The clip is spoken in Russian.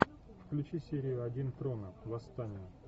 включи серию один трона восстание